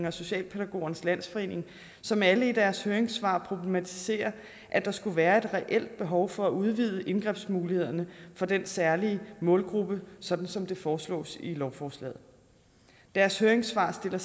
og socialpædagogernes landsforening som alle i deres høringssvar problematiserer at der skulle være et reelt behov for at udvide indgrebsmulighederne for den særlige målgruppe sådan som det foreslås i lovforslaget deres høringssvar sætter